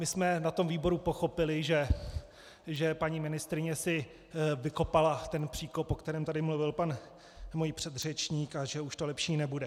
My jsme na tom výboru pochopili, že paní ministryně si vykopala ten příkop, o kterém tady mluvil můj pan předřečník, a že už to lepší nebude.